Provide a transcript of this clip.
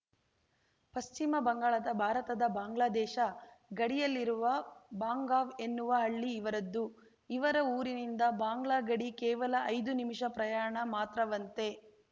ಪಶ್ಚಿಮ ಬಂಗಾಳದ ಭಾರತದಬಾಂಗ್ಲಾದೇಶ ಗಡಿಯಲ್ಲಿರುವ ಬಾಂಗಾಂವ್‌ ಎನ್ನುವ ಹಳ್ಳಿ ಇವರದ್ದು ಇವರ ಊರಿನಿಂದ ಬಾಂಗ್ಲಾ ಗಡಿ ಕೇವಲ ಐದು ನಿಮಿಷ ಪ್ರಯಾಣ ಮಾತ್ರವಂತೆ